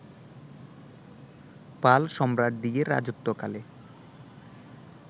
পাল সম্রাটদিগের রাজত্বকালে